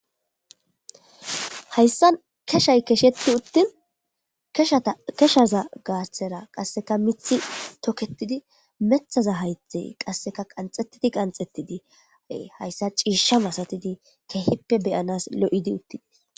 hayssa keshay kesheti uttin hkeshaza gaastera qasseka mithi toketidi methaza haythey qasseka qanxettidi qanxettidi hayssa ciisha masatidi kehippe beyanas lo7idi uttidis